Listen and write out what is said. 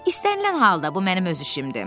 istənilən halda bu mənim öz işimdir.